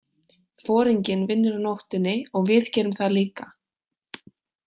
Foringinn vinnur á nóttunni og við gerum það líka.